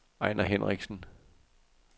Ejner Hinrichsen